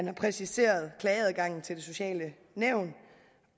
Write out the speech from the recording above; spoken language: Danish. er præciseret klageadgangen til det sociale nævn